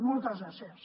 moltes gràcies